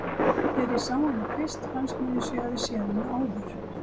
Þegar ég sá hana fyrst fannst mér eins og ég hefði séð hana áður.